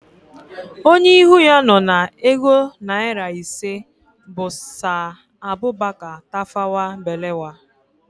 Onye ihu ya nọ na ego naịra ise bụ Saa Abubaka Tafawa Balewa